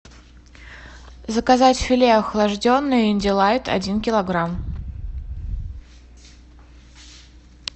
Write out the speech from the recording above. заказать филе охлажденное индилайт один килограмм